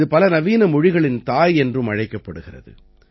இது பல நவீன மொழிகளின் தாய் என்றும் அழைக்கப்படுகிறது